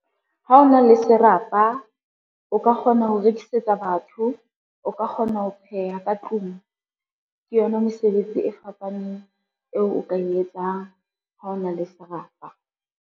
Ha o na le serapa, o ka kgona ho rekisetsa batho, o ka kgona ho pheha ka tlung, ke yona mosebetsi e fapaneng eo o ka e etsang ha ona le serapa.